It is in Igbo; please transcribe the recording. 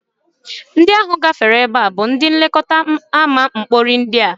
Ndị ahụ gafere ebe a bụ ndị nlekọta ama mkpori ndị a